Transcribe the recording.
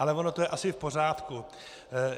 Ale ono to je asi v pořádku.